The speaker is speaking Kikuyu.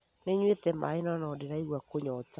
Nĩ nyuĩte maĩ no, no ndĩraigwa kũnyota